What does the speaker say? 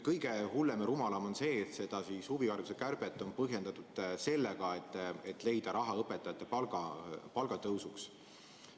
Kõige hullem ja rumalam on muidugi see, et huvihariduse kärbet on põhjendatud vajadusega leida raha õpetajate palgatõusuks.